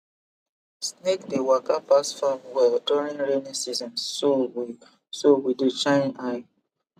snake dey waka pass farm well during rainy season so we so we dey shine eye